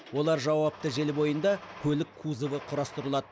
олар жауапты желі бойында көлік кузовы құрастырылады